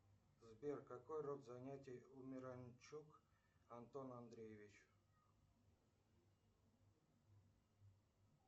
сбер какой род занятий у миранчук антона андреевича